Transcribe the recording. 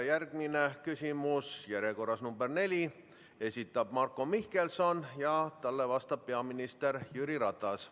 Järgmine küsimus on järjekorras nr 4, selle esitab Marko Mihkelson ja talle vastab peaminister Jüri Ratas.